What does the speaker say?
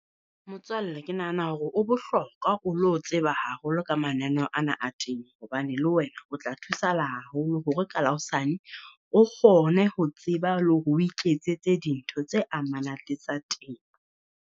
Motswalle Ke nahana hore o bohlokwa o lo tseba haholo ka mananeho ana a temo, hobane le wena o tla thusahala haholo hore ka la hosane o kgone ho tseba le hore o iketsetse dintho tse amanang le tsa temo.